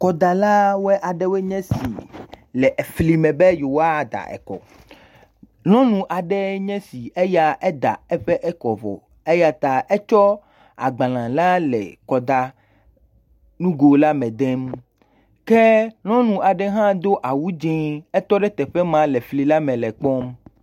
Kɔdala aɖewoe nye esi le efli me be yewoa da ekɔ. Nyɔnu aɖee nye esi eya eda eƒe ekɔ vɔ eyeta ekɔ agbalẽ la le kɔd a nugo la me dem. Ke nyɔnu aɖe hã do awu dzɛ, etɔ ɖe teƒe maa le fli la me le kpɔ